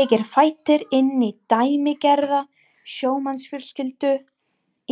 Ég er fæddur inn í dæmigerða sjómannsfjölskyldu